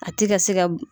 A ti ka se ka